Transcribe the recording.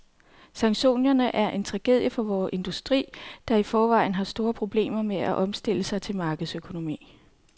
Sanktionerne er en tragedie for vores industri, der i forvejen har store problemer med at omstille sig til markedsøkonomi.